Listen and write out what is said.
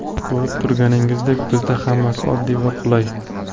Ko‘rib turganingizdek, bizda hammasi oddiy va qulay.